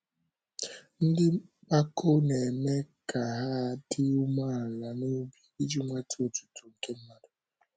Ndị mpako na - eme ka hà adị umeala n’obi, iji nweta otuto nke mmadụ.